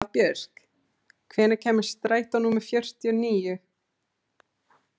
Hafbjörg, hvenær kemur strætó númer fjörutíu og níu?